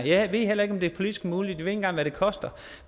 jeg ved heller ikke om det er politisk muligt og engang hvad det koster